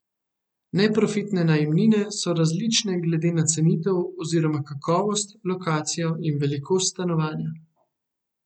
Neprofitne najemnine so različne glede na cenitev oziroma kakovost, lokacijo in velikost stanovanja.